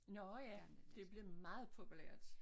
Nårh ja det blevet meget populært